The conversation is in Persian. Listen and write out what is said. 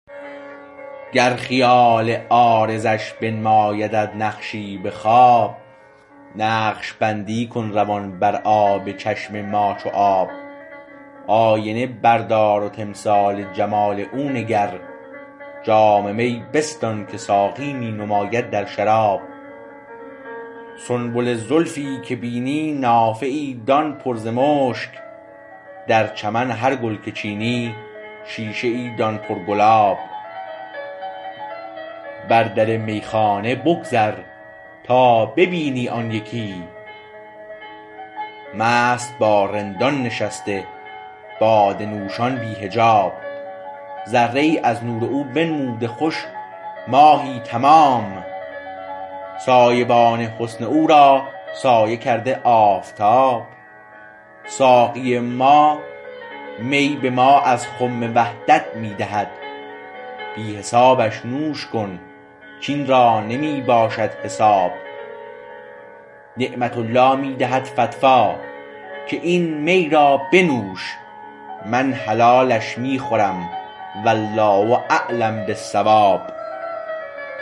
گرخیال عارضش بنمایدت نقشی به خواب نقشبندی کن روان بر آب چشم ما چو آب آینه بردار و تمثال جمال او نگر جام می بستان که ساقی می نماید در شراب سنبل زلفی که بینی نافه ای دان پر ز مشک در چمن هر گل که چینی شیشه ای دان پر گلاب بر در میخانه بگذر تا ببینی آن یکی مست با رندان نشسته باده نوشان بی حجاب ذره ای از نور او بنموده خوش ماهی تمام سایه بان حسن او را سایه کرده آفتاب ساقی ما می به ما از خم وحدت می دهد بی حسابش نوش کن کاین را نمی باشد حساب نعمت الله می دهد فتوی که این می را بنوش من حلالش می خورم والله اعلم بالصواب